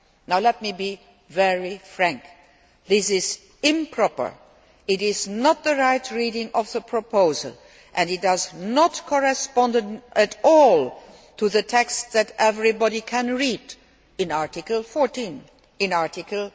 Now let me be very frank this is improper, it is not the right reading of the proposal, and it does not correspond at all to the texts that everybody can read in Article 14, in Article